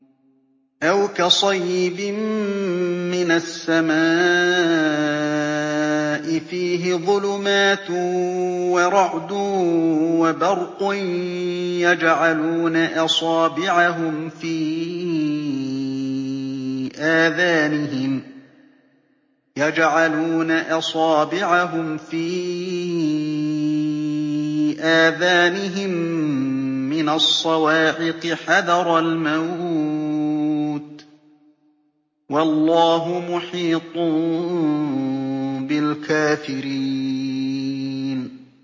أَوْ كَصَيِّبٍ مِّنَ السَّمَاءِ فِيهِ ظُلُمَاتٌ وَرَعْدٌ وَبَرْقٌ يَجْعَلُونَ أَصَابِعَهُمْ فِي آذَانِهِم مِّنَ الصَّوَاعِقِ حَذَرَ الْمَوْتِ ۚ وَاللَّهُ مُحِيطٌ بِالْكَافِرِينَ